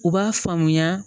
U b'a faamuya